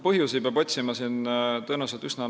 Põhjusi peab siin otsima tõenäoliselt laiemalt.